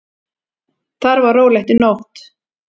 Þar var rólegt í nótt.